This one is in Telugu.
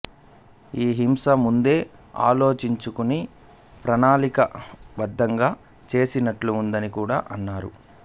ఈ హింస ముందే ఆలోచించుకుని ప్రణాళికా బద్ధంగా చేసినట్లు ఉందని కూడా అన్నాడు